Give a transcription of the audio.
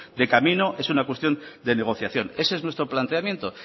de camino es una cuestión de negociación ese es nuestro planteamiento